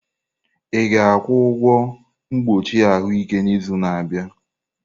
Ị ga-akwụ ụgwọ mkpuchi ahụike n'izu na-abịa?